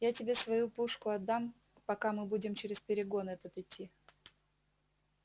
я тебе свою пушку отдам пока мы будем через перегон этот идти